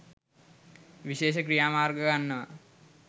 විශේෂ ක්‍රියාමාර්ග ගන්නවා